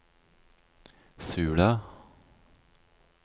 Sula